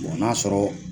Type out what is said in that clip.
n'a sɔrɔ